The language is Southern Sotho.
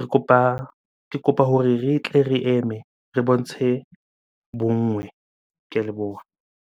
Re kopa, ke kopa hore re tle re eme re bontshe bonngwe. Ke a leboha.